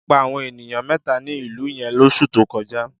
Jẹjẹrẹ pa àwọn ènìyàn mẹ́ta ní ìlú yẹn lóṣù tó kọjá.